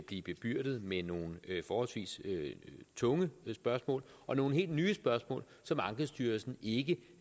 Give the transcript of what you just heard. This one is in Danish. blive bebyrdet med nogle forholdsvis tunge spørgsmål og nogle helt nye spørgsmål som ankestyrelsen ikke